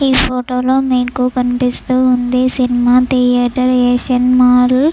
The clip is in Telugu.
ఈ ఫోటో లో మీకు కనిపిస్తూ ఉంది సినిమా థియేటర్ . ఏ సినిమా లు--